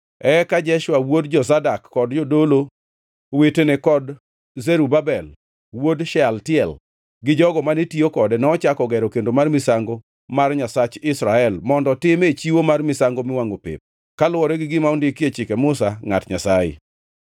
Eka Jeshua wuod Jozadak kod jodolo wetene kod Zerubabel wuod Shealtiel gi jogo mane tiyo kode nochako gero kendo mar misango mar Nyasach Israel mondo time chiwo mar misango miwangʼo pep, kaluwore gi gima ondiki e Chike Musa, ngʼat Nyasaye.